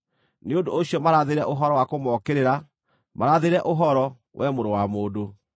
Nĩ ũndũ ũcio marathĩre ũhoro wa kũmookĩrĩra; marathĩre ũhoro, wee mũrũ wa mũndũ.”